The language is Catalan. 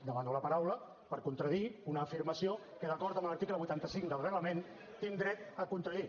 demano la paraula per contradir una afirmació que d’acord amb l’article vuitanta cinc del reglament tinc dret a contradir